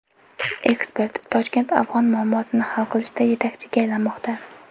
Ekspert: Toshkent afg‘on muammosini hal qilishda yetakchiga aylanmoqda.